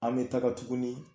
An bɛ taga tugunI